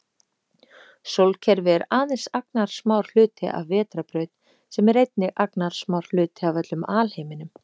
Sólkerfi er aðeins agnarsmár hluti af vetrarbraut sem er einnig agnarsmár hluti af öllum alheiminum.